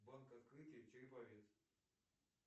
банк открытие череповец